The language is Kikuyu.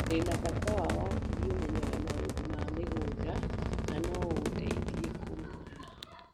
Ndĩ na bata wa wakĩlĩ ũmenyaga maũndũ ma mĩgũnda, na no ũndeithie kũmuona